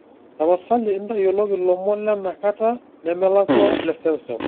tapasali intayioloki ilomon lenakata nemelakua leseuseu